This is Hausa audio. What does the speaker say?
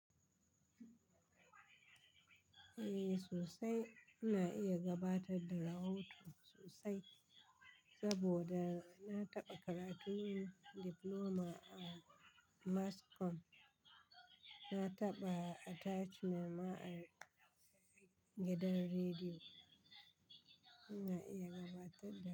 Eh sosai, ina iya gabatar da rahoton sosai. Saboda na taɓa karatun Diploma a Mass Comm. Na taɓa attachment ma a gidan rediyo. Ina iya gabatar da.